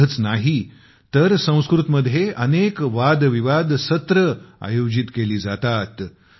एवढेच नाही तर इथे संस्कृतमध्ये अनेक वादविवाद सत्रे आयोजित केली जातात